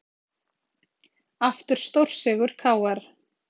Aftur stórsigur KR